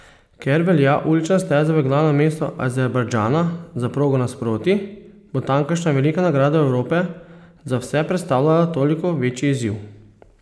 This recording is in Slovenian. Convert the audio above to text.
Ker velja ulična steza v glavnem mestu Azerbajdžana za progo nasprotij, bo tamkajšnja velika nagrada Evrope za vse predstavljala toliko večji izziv.